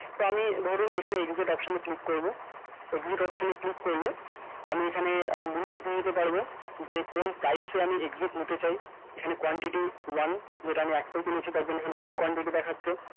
তো আমি ধরুন এখানে exit option এ click করবো exit option এ click করলে আমি এখানে আহ limit দিয়ে দিতে পারবো যে কোন প্রাইস এ আমি exit নিতে চাই এখানে quantity one যেটা আমি একটাই কিনেছি সেটার জন্য এখানে one quantity দেখাচ্ছে